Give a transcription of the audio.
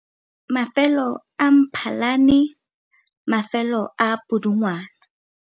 Mafelo a MphalaneMafelo a Pudungwana.